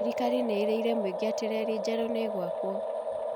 Thirkari nĩ ĩrĩire mũingĩ atĩ reli njerũ nĩ ĩgwakwo